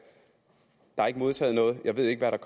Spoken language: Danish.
jeg har ikke modtaget noget jeg ved ikke hvad der